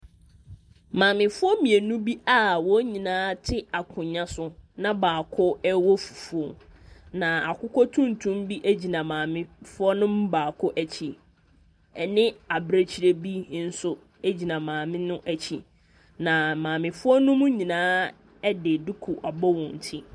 Maamefoɔ mmienu bi a wɔn nyinaa te akonnwa so, na baako rewɔ fufuo, na akokɔ tuntum bi gyina maamefoɔ no mu baako akyi, ɛnne abirekyie bi nso gyina maame no akyi, na maamefoɔ no nyinaa de duku abɔ wɔn ti.